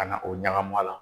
Ka na o ɲagami a la.